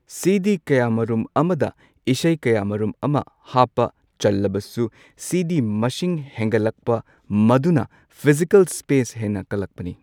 ꯁꯤꯗꯤ ꯀꯌꯥ ꯃꯔꯨꯝ ꯑꯃꯗ ꯏꯁꯩ ꯀꯌꯥ ꯃꯔꯨꯝ ꯑꯃ ꯍꯥꯞꯄ ꯆꯜꯂꯕꯁꯨ ꯁꯤꯗꯤ ꯃꯁꯤꯡ ꯍꯦꯟꯒꯠꯂꯛꯄ ꯃꯗꯨꯅ ꯐꯤꯖꯤꯀꯦꯜ ꯁ꯭ꯄꯦꯁ ꯍꯦꯟꯅ ꯀꯜꯂꯛꯄꯅꯤ꯫